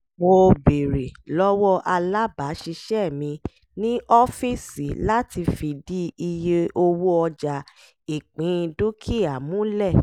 mo béèrè lọ́wọ́ alábàáṣiṣẹ́ mi ní ọ́fíìsì láti fìdí iye owó ọjà ìpín dúkìá múlẹ̀